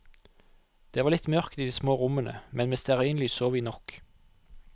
Det var litt mørkt i de små rommene, men med stearinlys så vi nok.